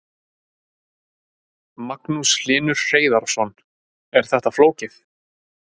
Magnús Hlynur Hreiðarsson: Er þetta flókið?